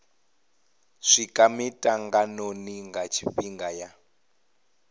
swika mitanganoni nga tshifhinga ya